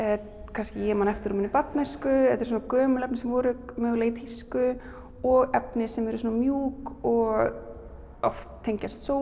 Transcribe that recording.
kannski man eftir úr barnæsku þetta eru svona gömul efni sem voru mögulega í tísku og efni sem eru svona mjúk og oft tengjast